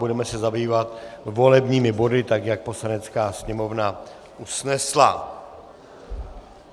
Budeme se zabývat volebními body, tak jak Poslanecká sněmovna usnesla.